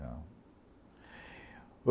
Não.